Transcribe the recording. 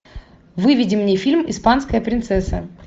выведи мне фильм испанская принцесса